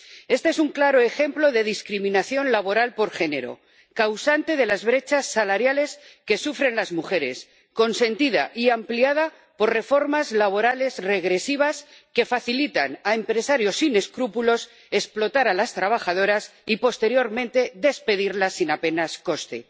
Este es un claro ejemplo de discriminación laboral por género, causante de las brechas salariales que sufren las mujeres, consentida y ampliada por reformas laborales regresivas que facilitan a empresarios sin escrúpulos explotar a las trabajadoras y posteriormente despedirlas sin apenas coste.